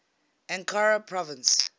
ankara province